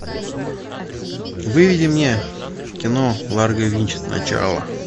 выведи мне кино ларго винч начало